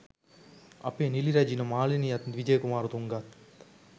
අපේ නිලි රැජින මාලනියත් විජය කුමාරණතුංගත්